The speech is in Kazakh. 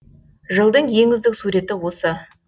жылдың ең үздік суреті осы